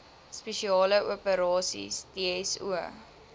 spesiale operasies dso